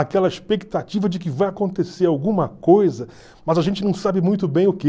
Aquela expectativa de que vai acontecer alguma coisa, mas a gente não sabe muito bem o que.